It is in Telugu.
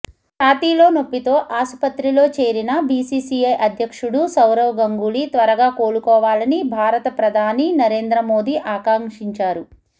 ఛాతీలో నొప్పితో ఆసుపత్రిలో చేరిన బీసీసీఐ అధ్యక్షుడు సౌరవ్ గంగూలీ త్వరగా కోలుకోవాలని భారత ప్రధాని నరేంద్రమోదీ ఆకాంక్షించారు